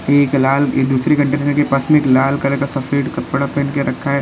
ये एक लाल ये दूसरी काँटेनेर के पास में एक लाल कलर का सफेद कपड़ा पहन के रखा है।